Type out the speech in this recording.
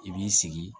I b'i sigi